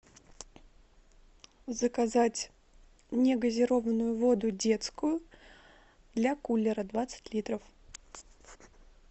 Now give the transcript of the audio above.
заказать негазированную воду детскую для кулера двадцать литров